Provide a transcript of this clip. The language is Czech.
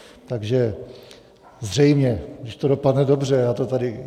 Takže zřejmě, když to dopadne dobře, já to tady...